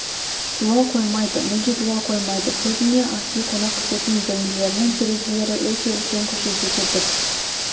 дуал қоймайды мүлде дуал қоймайды көбіне асүй қонақ күтетін бөлмелерінің терезелері өте үлкен көшеде кетіп